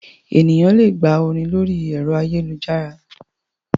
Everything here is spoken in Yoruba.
Ènìyàn le gba orin lórí ẹ̀rọ ayélujára.